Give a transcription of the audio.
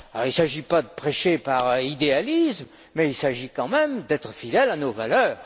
Il ne s'agit pas de prêcher par idéalisme mais il s'agit tout de même d'être fidèle à nos valeurs.